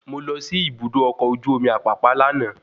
Mo lọ sí ibùdó ọkọ̀ ojú omi Apapa lànà